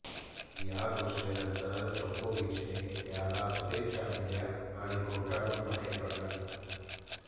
या घोषणेनंतर जोकोविचने त्याला शुभेच्छा दिल्या आणि कोर्टातून बाहेर पडला